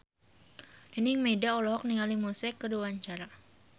Nining Meida olohok ningali Muse keur diwawancara